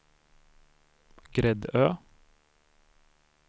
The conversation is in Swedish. Gräddö